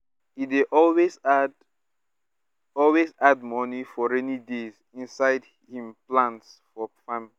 e dey always add always add money for raining days inside him plans for farm